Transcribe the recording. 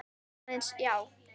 Aðeins, já.